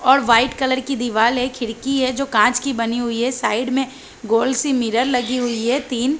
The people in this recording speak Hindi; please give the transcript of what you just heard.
और वाइट कलर की दीवार है खिड़की है जो कांच की बनी हुई है साइड में गोल सी मिरर लगी हुई है तीन --.